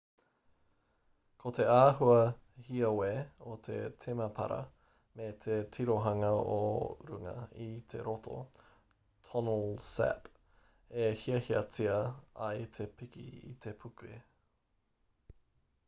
ko te āhua hiawe o te temepara me te tirohanga o runga i te roto tonle sap e hiahiatia ai te piki i te puke